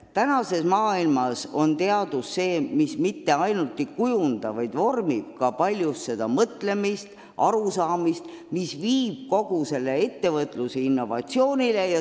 Tänases maailmas vormib teadus paljuski seda mõtlemist, arusaamist asjadest, mis viib kogu ettevõtluse innovatsioonile.